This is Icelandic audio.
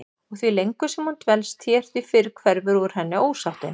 Og því lengur sem hún dvelst hér því fyrr hverfur úr henni ósáttin.